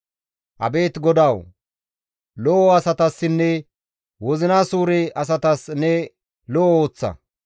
Abeet GODAWU! Lo7o asatassinne wozina suure asatas ne lo7o ooththa.